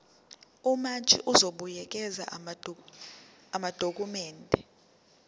umantshi uzobuyekeza amadokhumende